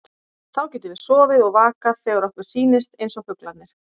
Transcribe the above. Þá getum við sofið og vakað þegar okkur sýnist, eins og fuglarnir.